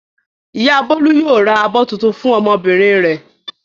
Ìyá Bólú yóò ra abọ́ tuntun fún ọmọbìnrin rẹ̀.